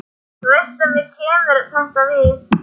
Þú veist að mér kemur þetta við.